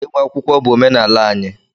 Ịgba akwụkwọ bụ omenala anyị